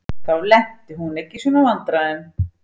Þá lenti hún ekki í svona vandræðum.